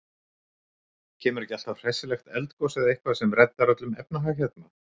Kemur ekki alltaf hressilegt eldgos eða eitthvað sem reddar öllum efnahag hérna?